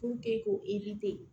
ko